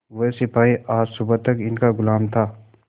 वह सिपाही आज सुबह तक इनका गुलाम था